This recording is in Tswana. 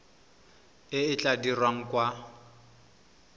e e tla dirwang kwa